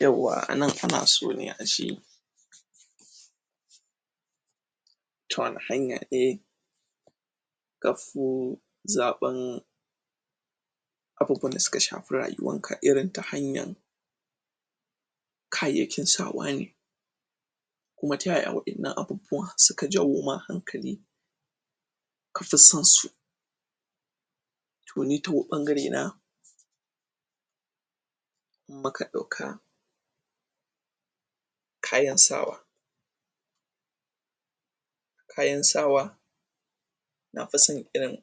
yawwa a nan ana so ne ace ta wani hanya ne kafi zaban abubuwan da suka shafi rayuwan ka irin ta hanyan kayyaykin sawa ne kuma ta yaya wa'ennan abubuwan suka jaw ma hankali ka fi son su toh ni toh ɓangare in muka dauka kayan sawa kayan sawa na fi son irin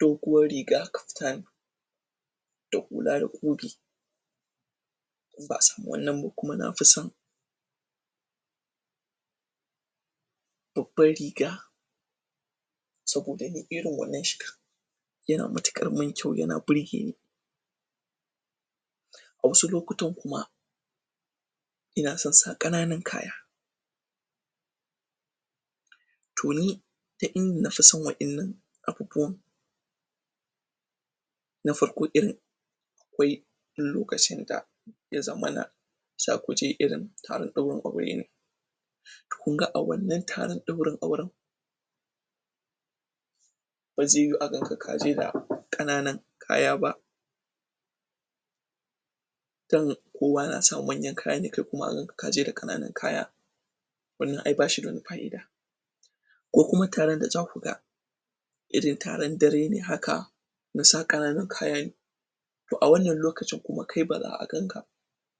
doguwan riga kaftan da hula da in ba'a samu wanna nba kuma na fi son babban riga saboda ni irin wannan shiga yana matukar mun kyau yana burgeni a wasu lokutann kuma ina son sa kananan kaya to ni duk ind nafi son wa'ennan abubuwan na farko irin akwai lokacin da ya zamana sakuje irin taron daurin aure ne to kun ga a wanna taran daurin auran ba zai yiyu a ganka kaje da kananan kaya ba can kowa na sa manyan kaya kai kuma a ganka kaje da kananun kaya wannan ai bashi da wani fa'ida ko kuma taron da zakuga irin taran dare ne haka na sa kanana kaya ne to a wannan lokacin kuma kai baza a ganka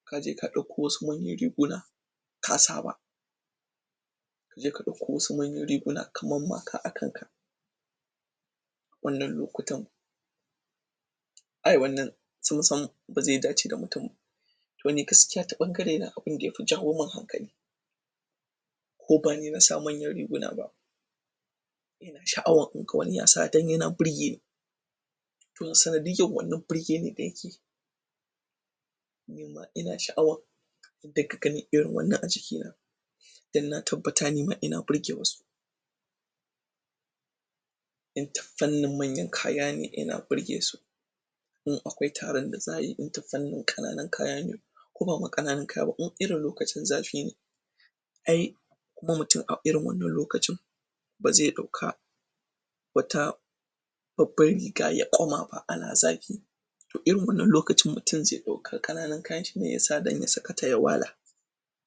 kaje ka daukowasu manyan riguna ka sa ba kaje ka dauko wasu manyan riguna ka maka a kan ka wannan lokutan ai wannan sun san bazai dace da mutum toh ni gaskiya ta ɓangare na abun da yafi jawo mun hankali ko gani na sa manyan riguna ba sha'awa in ga wani yasa dan yana ɓirge ni toh sanadiyan wannan birge ni una sha'awan in dinga ganin irin wanna a jiki na dan na tabbata nima ina ɓirge wasu dan ta fannin manya kaya ne yana ɓirge su in akwai taro da za'ayi in da fanin kanann kaya ne ko ba ma kananun kaya in irin lokacin zafi ne ai kuma mutum a irin wannan ba zai dauka wata baban riga ya ƙuma ba ana zafi irin wannan lokacin mutum zai dauka kananan kayan shi ne yasa dan ya sakata ya wala